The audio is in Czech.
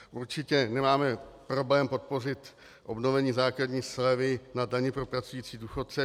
Určitě nemáme problém podpořit obnovení základní slevy na daně pro pracující důchodce.